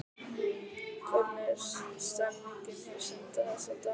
Hvernig er stemningin hjá Sindra þessa dagana?